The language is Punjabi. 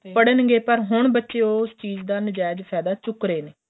ਪੜਨ ਗਏ ਪਰ ਹੁਣ ਬੱਚੇ ਉਸ ਚੀਜ ਦਾ ਨ੍ਜ਼ੇਜ ਫ਼ੇਦਾ ਚੁੱਕਦੇ ਰਹੇ ਨੇ